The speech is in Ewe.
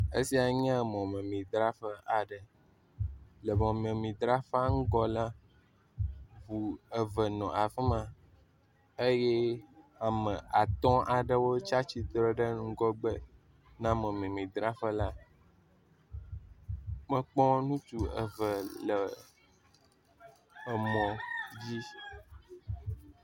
Esiae nye mɔmemidraƒe aɖe. Le mɔmemidraƒea ŋgɔ la, ŋu eve nɔ afi ma eye ame atɔ̃ aɖewo tsi atsitre ɖe ŋgɔgbe na mɔmemidraƒe la. Mekpɔ ŋutsu eve le emɔ dzi.